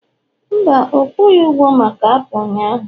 mba, ọ kwughị ụgwo maka apụl ụnyahụ